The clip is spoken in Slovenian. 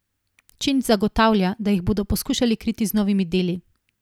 Činč zagotavlja, da jih bodo poskušali kriti z novimi deli.